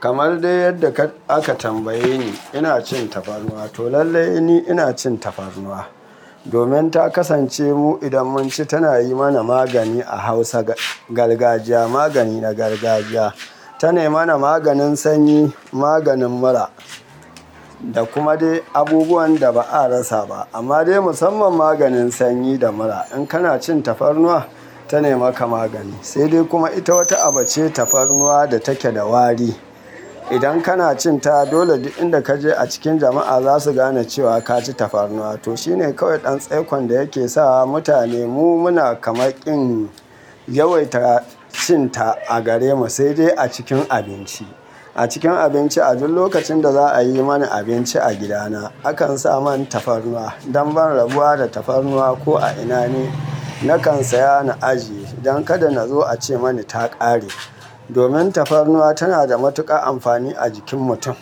Kamar dai yadda aka tambaye ni, ina cin tafarnuwa to lallai ina cin tafarnuwa. Domin ta kasance mu idan mun ci tana yi mana magani a hausa gargajiya magani na gargajiya. Tana yi mana maganin sanyi, maganin mura da kuma dai abubuwan da ba a rasa ba. Amma dai musamman maganin sanyi da mura. In kana cin tafarnuwa tana maka magani, sai dai kuma ita wata abu ce tafarnuwa da take da wari. Idan kana cin ta dole duk inda kaje a cikin jama'a za su gane cewa ka ci tafarnuwa. To shine kawai ɗan tsaikon da yake sa mutane mu muna kama kin yawaita cin ta a gare mu sai dai a cikin abinci. A cikin abinci a duk lokacin da za a yi mani abinci a gidana, akan sa man tafarnuwa. Dan ban rabuwa da tafarnuwa ko a ina ne nakan saya na ajiye don kada nazo a ce mani ta ƙare. Domin tafarnuwa tana da matuƙar amfani a jikin mutum,